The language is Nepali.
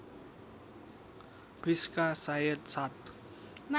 प्रिस्का सायद सात